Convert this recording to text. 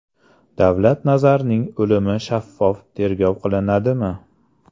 Davlat Nazarning o‘limi shaffof tergov qilinadimi?